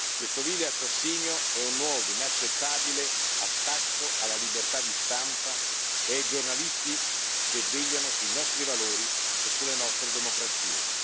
Questo vile assassinio è un nuovo, inaccettabile attacco alla libertà di stampa e ai giornalisti che vegliano sui nostri valori e sulle nostre democrazie.